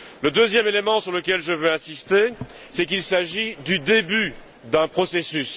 Le deuxième élément sur lequel je veux insister, c'est qu'il s'agit du début d'un processus.